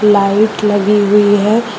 Light लगी हुई है।